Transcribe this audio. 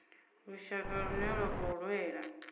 lushaka lune lwa khou lwela